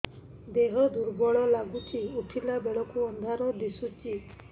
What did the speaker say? ଦେହ ଦୁର୍ବଳ ଲାଗୁଛି ଉଠିଲା ବେଳକୁ ଅନ୍ଧାର ଦିଶୁଚି